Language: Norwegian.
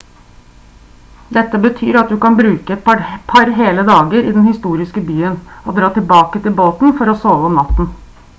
dette betyr at du kan bruke et par hele dager i den historiske byen og dra tilbake til båten for å sove om natten